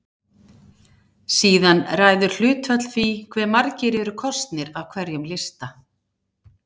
Síðan ræður hlutfall því hve margir eru kosnir af hverjum lista.